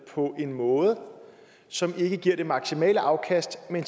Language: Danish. på en måde som ikke giver det maksimale afkast men